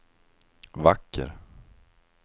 vacker